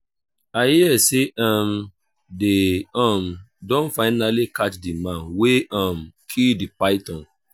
my papa talk say he go initiate me and my broda into the masquerade group